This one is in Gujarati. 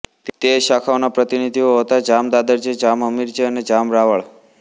તે શાખાઓના પ્રતિનિધિઓ હતા જામ દાદરજી જામ હમીરજી અને જામ રાવળ